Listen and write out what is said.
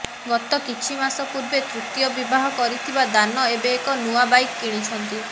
ଗତ କିଛି ମାସ ପୂର୍ବେ ତୃତୀୟ ବିବାହ କରିଥିବା ଦାନ ଏବେ ଏକ ନୂଆ ବାଇକ୍ କିଛନ୍ତି